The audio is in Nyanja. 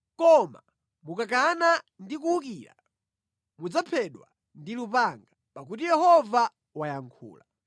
koma mukakana ndi kuwukira mudzaphedwa ndi lupanga.” Pakuti Yehova wayankhula.